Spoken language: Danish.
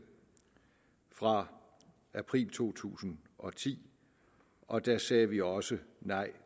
fra april to tusind og ti og der sagde vi også nej